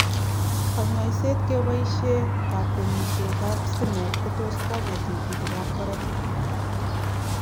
kanyaishet kebaishe kankwenyishet ap stimet kotus konya tigitg ap karatig.